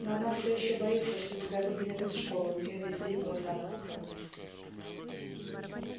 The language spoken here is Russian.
но она всё ещё боится что тебя выгонят из школы у неё весь день глаза на мокром месте